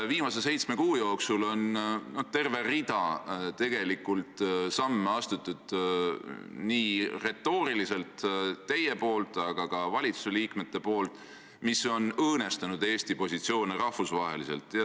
Viimase seitsme kuu jooksul olete teie retooriliselt käitudes astunud terve rea samme, aga seda on teinud ka teised valitsusliikmed, mis on õõnestanud Eesti rahvusvahelisi positsioone.